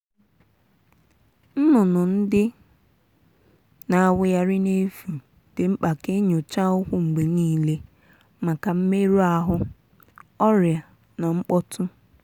nnụnụ ndị na-awụgharị n'efu di mkpa ka enyocha ụkwụ mgbe niile maka mmerụ ahụ ọrịa na mkpọtụ.